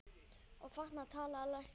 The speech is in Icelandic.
Og þarna talaði læknir.